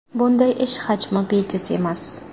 Bunday ish hajmi bejiz emas.